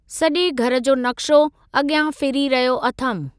सजे॒ घरु जो नक़्शो अगि॒यां फिरी रहियो अथमि।